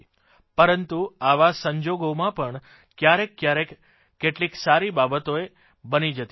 પરંતુ આવા સંજોગોમાં પણ કયારેકકયારેક કેટલીક સારી બાબતોય બની જતી હોય છે